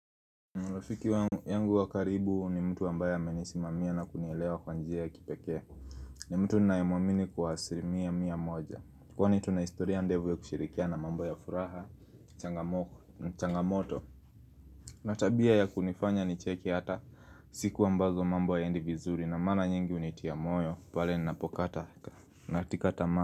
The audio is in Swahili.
Marafiki wangu wa karibu ni mtu wambaya menisimamia na kunielewa kwanjia ya kipeke. Ni mtu ninayemuamini kwa asilimia mia moja. Kwani tuna historia ndefu ya kushirikia na mambo ya furaha, changamoto. Na tabia ya kunifanya nicheke hata siku ambazo mambo hayaendi vizuri. Na mara nyingi hunitia moyo, pale ninapokata. Na tika tamaa.